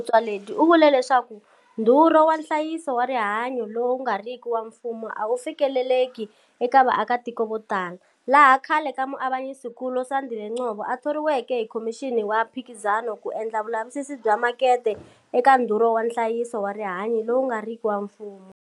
Motsoaledi u vule leswaku ndhurho wa nhlayiso wa rihanyu lowu nga riki wa mfumo a wu fikeleleki eka vaakatiko vo tala, laha khale ka Muavanyisinkulu Sandile Ngcobo a thoriweke hi Khomixini ya Mphikizano ku endla vulavisisi bya makete eka ndhurho wa nhlayiso wa rihanyu lowu nga riki wa mfumo.